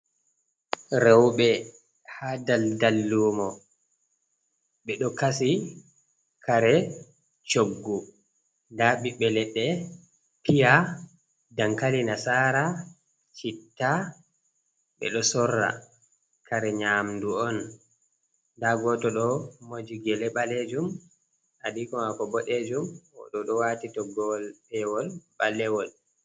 Rowɓe ha daldal lumo. Ɓe ɗo kasi kare coggu, ɓiɓɓe leɗɗe, piya, dankali nasara, citta. Ɓe ɗo sorra kare nyamɗu on, nda goto ɗo moji gele balejum, adiiko maako boɗeejum, o ɗo ɗo waati toggowol pewol ɓalewol.